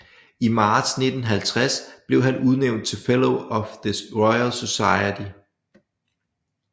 I marts 1950 blev han udnævnt til Fellow of the Royal Society